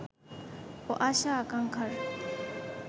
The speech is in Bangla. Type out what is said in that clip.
ও আশা-আকাঙ্ক্ষার